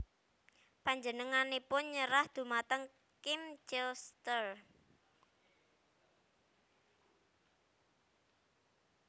Panjenenganipun nyerah dhumateng Kim Clijsters